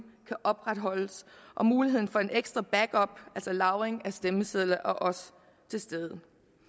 kan opretholdes muligheden for en ekstra backup altså lagring af stemmesedlerne er også til stede